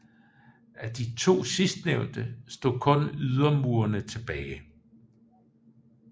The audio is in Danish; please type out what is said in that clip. Af de to sidstnævnte stod kun ydermurene tilbage